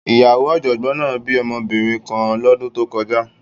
Ìyàwó ọ̀jọ̀gbọ́n náà bí ọmọbìnrin kan lọ́dún tó kọjá